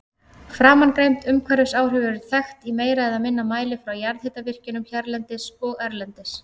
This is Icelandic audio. Framangreind umhverfisáhrif eru þekkt í meira eða minna mæli frá jarðhitavirkjunum hérlendis og erlendis.